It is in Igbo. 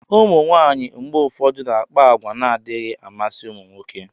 ụmụ nwanyị mgbe ụfọdụ na-akpa àgwà na-adịghị amasị ụmụ nwoke